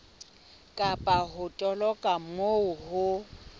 kapa ho toloka moo ho